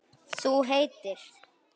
Þú heitir?